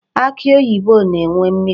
Akị oyibo na-enwe mmiri.